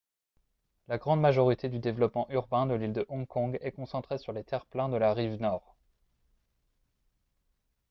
la grande majorité du développement urbain de l'île de hong kong est concentrée sur les terre-pleins de la rive nord